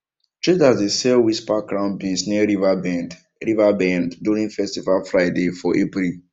traders dey sell whisper crown beans near river bend river bend during festival friday for april